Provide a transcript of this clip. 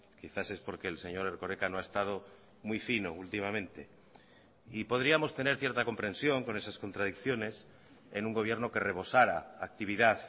quizás es porque el señor erkoreka no ha estado muy fino últimamente y podríamos tener cierta comprensión con esas contradicciones en un gobierno que rebosara actividad